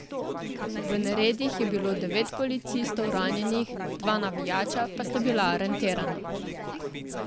V neredih je bilo devet policistov ranjenih, dva navijača pa sta bila aretirana.